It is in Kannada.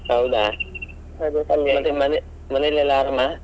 ಹೌದಾ, ಮನೆಯಲ್ಲೆಲ್ಲ ಆರಾಮ?